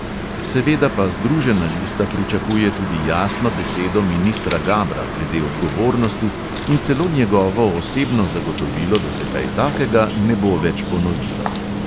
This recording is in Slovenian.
Seveda pa združena lista pričakuje tudi jasno besedo ministra gabra glede odgovornosti in celo njegovo osebno zagotovilo, da se kaj takega ne bo več ponovilo.